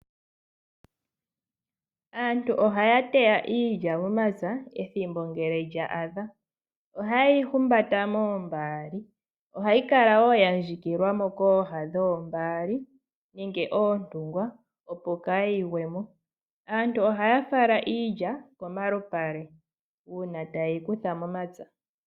Aantu ohaya teya iilya momapya uuna ethimbo lya adha oha yeyi humbata moombaali nohayi kala ya ndjikilwa kooha dhoombali nenge dhoontungwa opo kaayi gwemo nokuyi fala kolupale uuna taye yi kutha mepya.